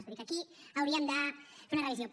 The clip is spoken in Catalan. vull dir que aquí hauríem de fer una revisió